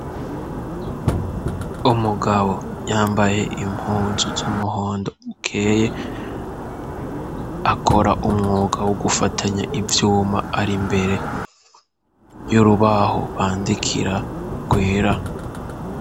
Umugabo yambaye impunzu z'umuhondo ukeye, akora umwuga wo gufatanya ivyuma, ari mbere y'urubaho bandikira rwera.